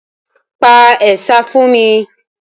Sing a chant for me